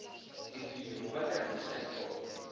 tifilimu va tihanyisa hi tona